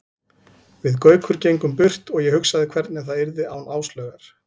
Við Gaukur gengum burt og ég hugsaði hvernig það yrði án Áslaugar.